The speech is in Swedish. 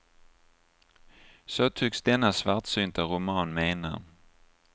Så tycks denna svartsynta roman mena.